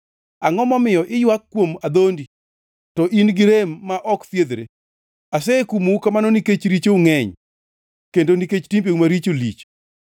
Angʼo momiyo iywak kuom adhondi, to in-gi rem ma ok thiedhre? Asekumou kamano nikech richou ngʼeny, kendo nikech timbeu maricho lich.